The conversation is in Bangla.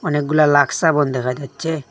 অনেকগুলা লাক্স সাবুন দেখা যাচ্ছে।